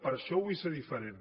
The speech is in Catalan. per això vull ser diferent